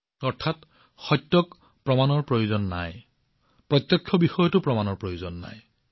অৰ্থাৎ সত্যক প্ৰমাণৰ প্ৰয়োজন নাই আৰু যিটো স্পষ্ট তাকো প্ৰমাণৰ প্ৰয়োজন নাই